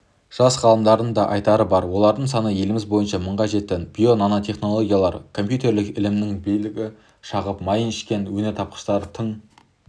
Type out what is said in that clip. жас ғалымдардың да айтары бар олардың саны еліміз бойынша мыңға жетті био нанотехнологиялар компьютерлік ілімнің жілігін шағып майын ішкен өнертапқыштар тың